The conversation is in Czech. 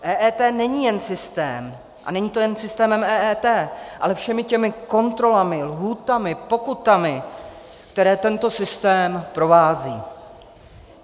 EET není jen systém a není to jen systémem EET, ale všemi těmi kontrolami, lhůtami, pokutami, které tento systém provází.